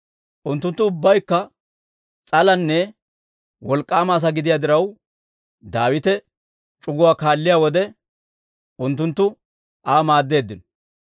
Unttunttu ubbaykka s'alanne wolk'k'aama asaa gidiyaa diraw, Daawite c'uguwaa kaalliyaa wode, unttunttu Aa maaddeeddino.